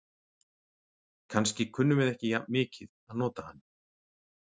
Kannski kunnum við ekki jafn mikið að nota hann.